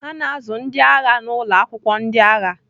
A na-azụ ndị agha n'ụlọ akwụkwọ ndị agha